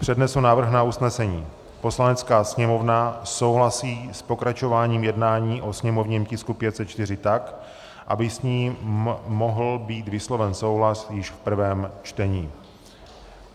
Přednesu návrh na usnesení: "Poslanecká sněmovna souhlasí s pokračováním jednání o sněmovním tisku 504 tak, aby s ním mohl být vysloven souhlas již v prvém čtení."